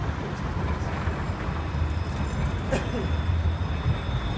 Quanto tempo você ficou nesse emprego?